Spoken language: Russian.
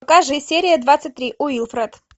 покажи серия двадцать три уилфред